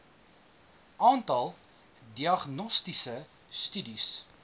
aantal diagnostiese studies